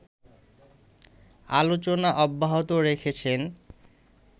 আলোচনা অব্যাহত রেখেছেন।